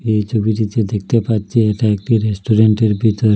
এই ছবিটিতে দেখতে পাচ্ছি এটা একটি রেস্টুরেন্টের ভিতর।